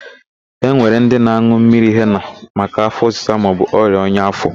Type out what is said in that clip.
E nwere ndị na-an̄ụ mmiri hena maka áfọ̀ ọsịsa maọbụ ọrịa ọnya áfọ̀.